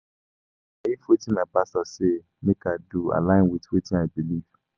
I dey wonder if wetin my pastor say make I do align wit wetin I believe.